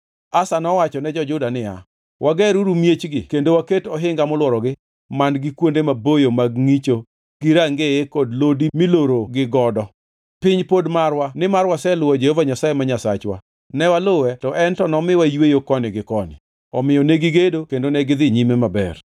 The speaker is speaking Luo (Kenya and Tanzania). Asa nowacho ne jo-Juda niya, “Wageruru miechgi kendo waket ohinga molworogi man-gi kuonde maboyo mag ngʼicho gi rangeye kod lodi milorogi godo. Piny pod marwa nimar waseluwo Jehova Nyasaye ma Nyasachwa, newaluwe to en nomiyowa yweyo koni gi koni.” Omiyo negigedo kendo negidhi nyime maber.